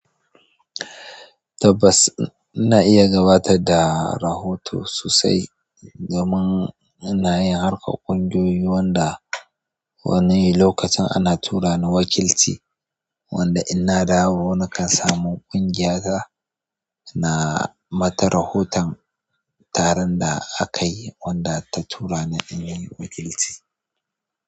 Tabbas, ina iya gabatar da rahoto sosai domin inayin harkar ƙungiyoyi wanda wani lokacin ana tura lni wakilci, wanda in nadawo nakan samu kungiyata na mata rahoton taron da aka yi wanda ta tura ni in yi wakilci.